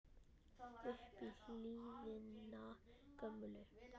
upp í hlíðina gömlu